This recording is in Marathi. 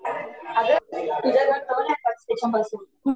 अगं तुझ्याकडे